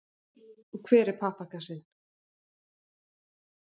Og hver er pappakassinn?